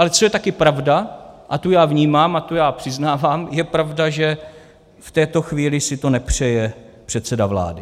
Ale co je také pravda, a tu já vnímám a tu já přiznávám, je pravda, že v této chvíli si to nepřeje předseda vlády.